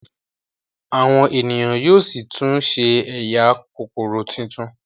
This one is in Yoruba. Àwọn ènìyàn yóó sí tún ṣe ẹyà Kókóró títún.